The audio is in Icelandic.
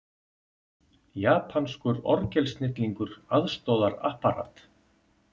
Japanskur orgelsnillingur aðstoðar Apparat